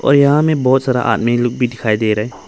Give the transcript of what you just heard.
और यहां में बहुत सारा आदमी लोग भी दिखाई दे रहा हैं।